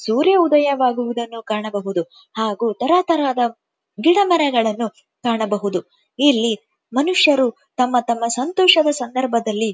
ಸೂರ್ಯ ಉದಯವಾಗುವುದನ್ನು ಕಾಣಬಹುದು ಹಾಗು ತರತರದ ಗಿಡಮರಗಳನ್ನು ಕಾಣಬಹುದು ಇಲ್ಲಿ ಮನುಷ್ಯರು ತಮ್ಮ ತಮ್ಮ ಸಂತೋಷದಲ್ಲಿ.